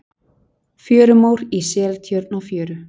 Fjörumór í Seltjörn á fjöru.